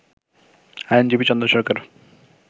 আইনজীবী চন্দন সরকার